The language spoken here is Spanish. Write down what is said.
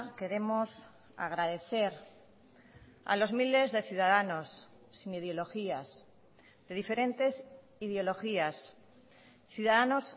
queremos agradecer a los miles de ciudadanos sin ideologías de diferentes ideologías ciudadanos